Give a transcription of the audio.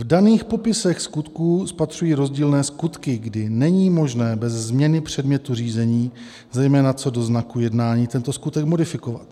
V daných popisech skutků spatřuji rozdílné skutky, kdy není možné bez změny předmětu řízení, zejména co do znaku jednání, tento skutek modifikovat.